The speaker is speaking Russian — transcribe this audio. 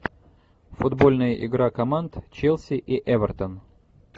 футбольная игра команд челси и эвертон